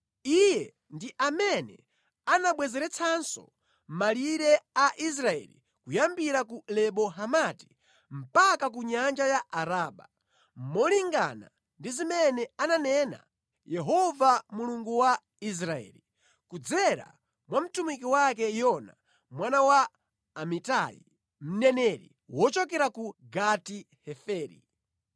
Iye ndi amene anabwezeretsanso malire a Israeli kuyambira ku Lebo Hamati mpaka ku Nyanja ya Araba, molingana ndi zimene ananena Yehova Mulungu wa Israeli, kudzera mwa mtumiki wake Yona mwana wa Amitai, mneneri wochokera ku Gati-Heferi.